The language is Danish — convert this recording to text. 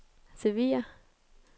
Sevilla